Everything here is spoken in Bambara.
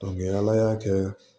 ala y'a kɛ